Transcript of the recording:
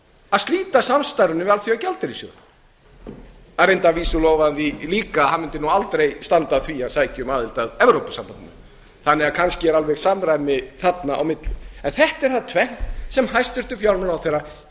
að slíta samstarfinu við alþjóðagjaldeyrissjóðinn að vísu lofaði hann því líka að hann mundi aldrei standa að því að sækja um aðild að evrópusambandinu þannig að kannski er alveg samræmi þarna á milli en þetta er það tvennt sem hæstvirtur fjármálaráðherra